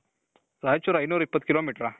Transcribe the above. ರಾಯಚೂರ್ ಐನೂರು ಇಪ್ಪತ್ತು ಕಿಲೋಮೀಟರ